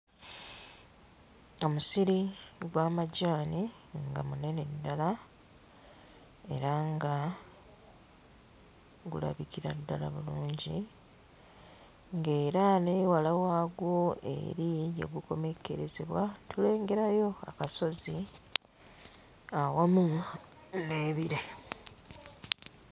Omusiri gw'amajaani nga munene ddala era nga gulabikira ddala bulungi, ng'era n'ewala waagwo eri gye gukomekkerezebwa tulengerayo akasozi awamu n'ebire.